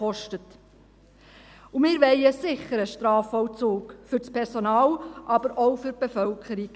Wir wollen auch einen sicheren Strafvollzug – für das Personal, aber auch für die Bevölkerung.